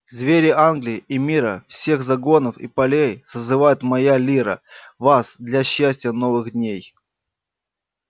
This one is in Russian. звери англии и мира всех загонов и полей созывает моя лира вас для счастья новых дней